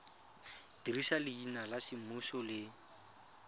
dirisa leina la semmuso le